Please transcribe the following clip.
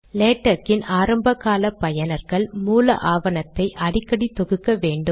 லேடக்கின் ஆரம்ப கால பயனர்கள் மூல ஆவணத்தை அடிக்கடி தொகுக்க வேண்டும்